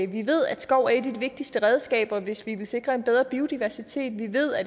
vi ved at skov er et vigtigste redskaber hvis vi vil sikre en bedre biodiversitet vi ved at